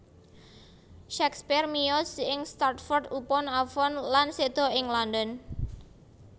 Shakespeare miyos ing Stratford upon Avon lan séda ing London